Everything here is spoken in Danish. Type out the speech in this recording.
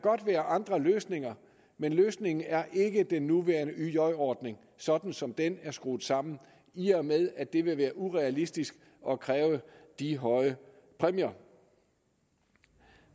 være andre løsninger men løsningen er ikke den nuværende yj ordning sådan som den er skruet sammen i og med at det vil være urealistisk at kræve de høje præmier